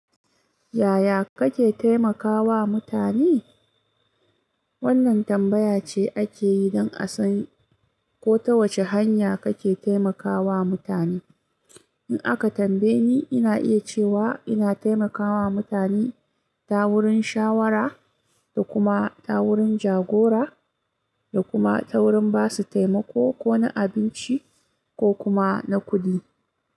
Yaya kake taimakawa mutane? Wannan tambaya ce ake yi don a san ko ta wace hanya kake taimakawa mutane. In aka tambaye ni, ina iya cewa ina taimakawa mutane ta wurin shawara, da kuma ta wurin jagora, da kuma ta wurin ba su taimako ko na abinci ko kuma na kuɗi.